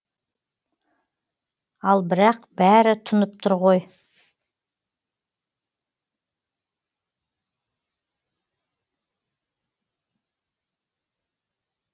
ал бірақ бәрі тұнып тұр ғой